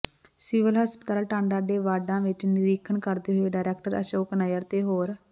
civil ਹਸਪਤਾਲ ਟਾਂਡਾ ਦੇ ਵਾਰਡਾਂ ਵਿਚ ਨਿਰੀਖਣ ਕਰਦੇ ਹੋਏ ਡਾਇਰੈਕਟਰ ਅਸ਼ੋਕ ਨਈਅਰ ਤੇ ਹੋਰ